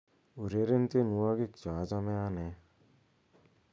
ureren tienwogik cheochome anee